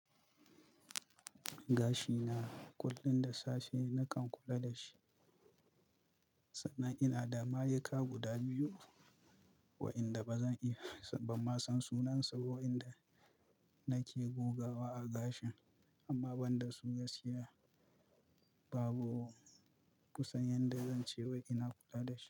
Gashi na kullum da safe nakan kula da shi, sannan ina da mayuka guda biyu waɗanda ba zan iya, ban ma san sunan su ba waɗanda nake gogawa a gashin amma banda su gaskiya babu kusan yadda zan ce wai ina kula da shi.